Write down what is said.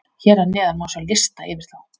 Hér að neðan má sjá lista yfir þá.